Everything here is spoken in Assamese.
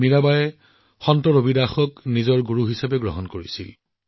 মীৰাবাইয়ে সন্ত ৰবিদাসক নিজৰ গুৰু বুলি গণ্য কৰিছিল